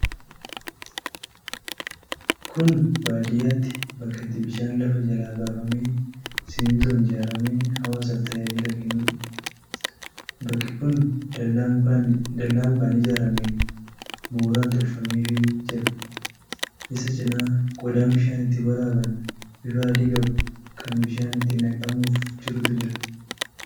Kuni baadiyyaatti bakka itti bishaan lafa jalaa baafamee simintoon ijaaramee hawaasaa f tajaajila keennuudha. Bakki kun dallaa mukaan ijaarameen mooraan tolfameefii jira. Isa cinaa qodaan bishaan itti waraaban bifa adii qabu, kan bishaan itti naqamuuf jirutu jira.